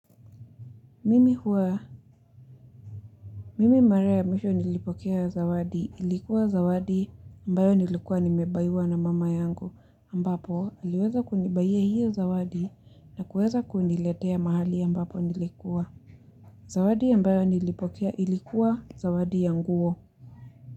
Mimi huwa. Mimi mara ya mwisho nilipokea zawadi. Ilikuwa zawadi ambayo nilikuwa nimebuyiwa na mama yangu. Ambapo, aliweza kunibuyia hiyo zawadi na kueza kuniletea mahali ambapo nilikuwa. Zawadi ambayo nilipokea ilikuwa zawadi ya nguo.